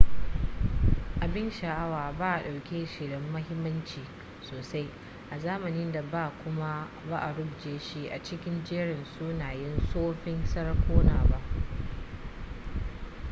abin sha'awa ba a ɗauke shi da muhimmanci sosai a zamanin da ba kuma ba a rubuce shi a cikin jerin sunayen tsoffin sarakuna ba